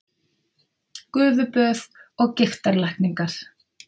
Gufuböð og gigtarlækningar